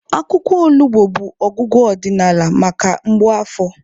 Akwụkwọ olugbo bụ ọgwụgwọ ọdịnala maka mgbu afọ.